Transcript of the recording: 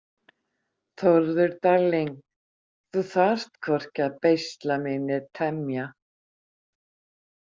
Þórður darling, þú þarft hvorki að beisla mig né temja